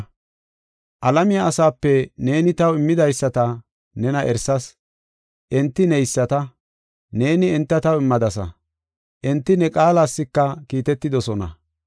“Alamiya asaape neeni taw immidaysata nena erisas. Enti neyisata; neeni enta taw immadasa. Enti ne qaalaska kiitetidosona.